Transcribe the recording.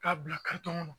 K'a bila kɔnɔ